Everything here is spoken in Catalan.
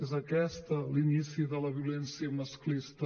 és aquest l’inici de la violència masclista